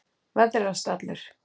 veðrast allur.